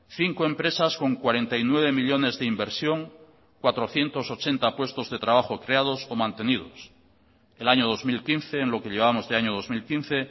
cinco empresas con cuarenta y nueve millónes de inversión cuatrocientos ochenta puestos de trabajo creados o mantenidos el año dos mil quince en lo que llevamos de año dos mil quince